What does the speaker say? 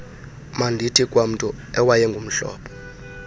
mandithi kwamntu owayengumhlobo